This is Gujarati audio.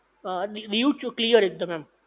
હા દીવ ચ ક્લિયર એકદમ